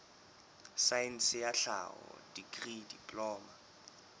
saense ya tlhaho dikri diploma